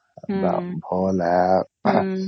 ଅର୍